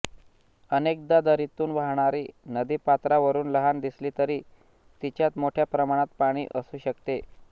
अनेकदा दरीतून वाहणारी नदी पात्रावरून लहान दिसली तरी तिच्यात मोठ्या प्रमाणात पाणी असू शकते